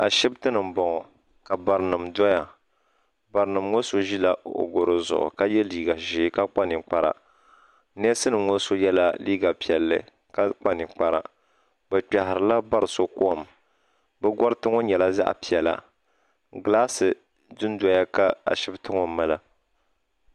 Ashibiti ni n bɔŋɔ, ka barinim doya. barinim ŋɔ sɔ ʒila ɔ garɔ zuɣu ka ye liiga ʒɛɛ ka kpa ninkpara, ness nimŋɔ sɔ yela liiga piɛli. ka ninkpara. bɛ kpehirila barisɔ kom. bɛ gariti ŋɔ nyɛla zaɣipiɛli, glaasi du doya ka ashibitiŋɔ mala.